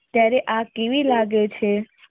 ત્યારે આ કેવી લાગે છે.